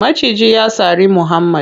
Maciji ya sari muhammad.